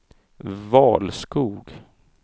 Valskog